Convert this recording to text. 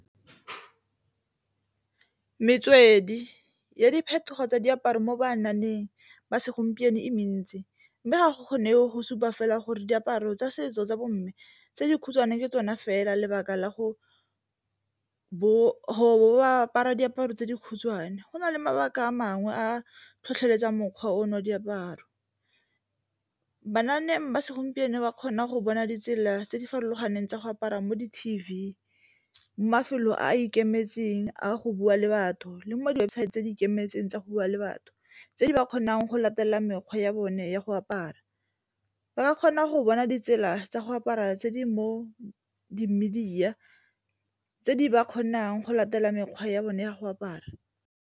Metswedi ya diphetogo tsa diaparo mo ba segompieno e mentsi, mme ga go kgonege go supa fela gore diaparo tsa setso tsa bo mme tse dikhutshwane tsona fela lebaka la go bo ba apara diaparo tse dikhutshwane, go na le mabaka a mangwe a a tlhotlheletsang mokgwa ono diaparo. ba segompieno ba kgona go bona ditsela tse di farologaneng tsa go apara mo di-T_V, mafelo a a ikemetseng a go bua le batho le mongwe di-webosaete tse di ikemetseng tsa go bua le batho tse di ba kgonang go latelela mekgwa ya bone ya go apara. Ba kgona go bona ditsela tsa go apara tse di mo di-media tse di ba kgonang go latela mekgwa ya bone ya go apara.